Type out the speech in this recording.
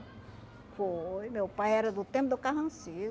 Foi, meu pai era do tempo do